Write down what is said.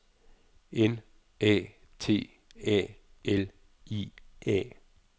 N A T A L I A